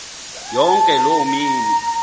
yonke loo mini